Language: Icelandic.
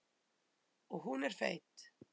Og hún er feit.